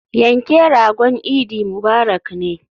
Yanke ragon idi mubarak ne.